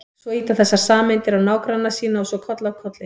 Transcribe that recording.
Svo ýta þessar sameindir á nágranna sína og svo koll af kolli.